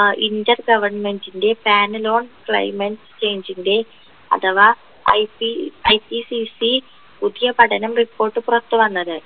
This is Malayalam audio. ഏർ inter government ൻ്റെ panel on climate change ൻ്റെ അഥവാ ipIPCC പുതിയ പഠനം report പുറത്തുവന്നത്